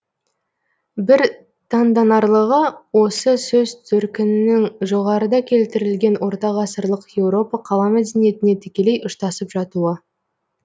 бір таңданарлығы осы сөз төркінінің жоғарыда келтірілген ортағасырлық еуропа қала мәдениетіне тікелей ұштасып жатуы